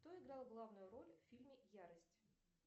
кто играл главную роль в фильме ярость